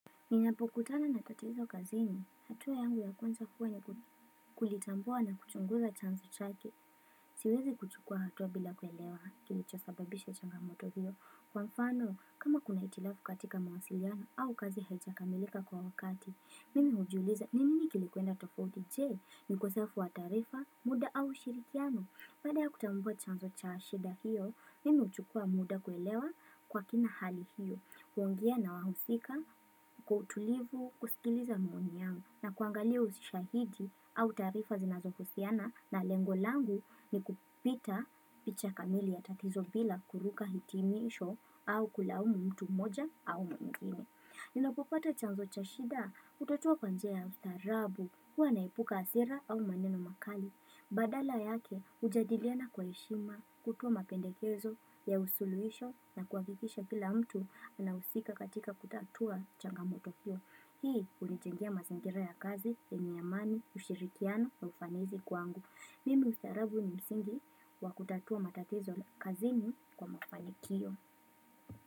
Ninapokutana na tatizo kazini, hatua yangu ya kwanza huwa ni kulitambua na kuchunguza chanzo chake. Siwezi kuchukua hatua bila kuelewa, kilichosababisha changamoto huo. Kwa mfano, kama kuna hitilafu katika mawasiliano au kazi haijakamilika kwa wakati, mimi hujiuliza, ni nini kilikwenda tofauti, je, ni ukosefu wa taarifa, muda au ushirikiano? Baada ya kutambua chanzo cha shida hiyo, mimi huchukua muda kuelewa kwa kina hali hiyo. Huongea na wahusika, kwa utulivu, kusikiliza maoni yao, na kuangalia ushahidi au taarifa zinazohusiana na lengo langu ni kupita picha kamili ya tatizo bila kuruka hitimisho au kulaumu mtu mmoja au mwingine. Ninapopata chanzo cha shida, hutatua kwa njia ya ustaarabu. Huwa naepuka hasira au maneno makali Badala yake hujadiliana kwa heshima, kutoa mapendekezo ya usuluhisho na kuhakikisha pila mtu na husika katika kutatua changamoto hio. Hii hunijengea mazingira ya kazi yenye amani ushirikiano ya ufanizi kwangu Pia utaarabu ni msingi wa kutatua matatizo kazini kwa mafanikio.